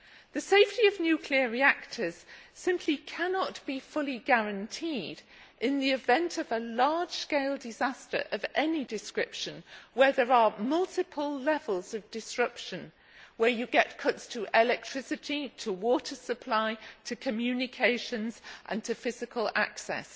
The safety of nuclear reactors simply cannot be fully guaranteed in the event of a large scale disaster of any description where there are multiple levels of disruption, where you get cuts to electricity, to water supply, to communications and to physical access.